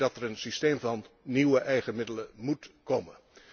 Ik denk dat er een systeem van nieuwe eigen middelen moet komen.